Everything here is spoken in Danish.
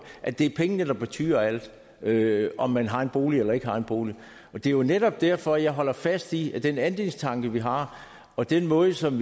at det er pengene der betyder alt med hensyn om man har en bolig eller ikke har en bolig det er jo netop derfor jeg holder fast i at den andelstanke vi har og den måde som